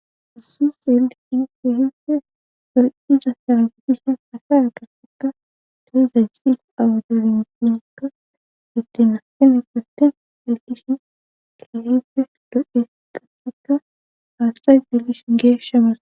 Husu xelishin kehife doriza saragudishen asa a gastakka toe zay xil awudolnpinkka detenateme purten xeellishin kehife do'e qataka haastay xeellishin geeshshamasa.